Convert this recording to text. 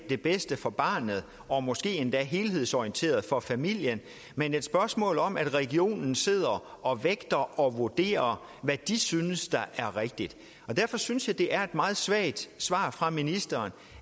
det bedste for barnet og måske endda helhedsorienteret for familien men et spørgsmål om at regionen sidder og vægter og vurderer hvad den synes er rigtigt derfor synes jeg det er et meget svagt svar fra ministeren